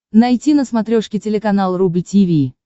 найти на смотрешке телеканал рубль ти ви